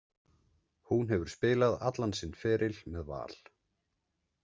Hún hefur spilað allan sinn feril með Val.